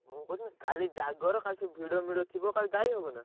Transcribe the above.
ମୁଁ କହୁଥିଲି କାଲି ଜାଗାର କାଲି ସବୁ ଭିଡମିଡ ଥିବ କାଲି ଯାଇହବନା?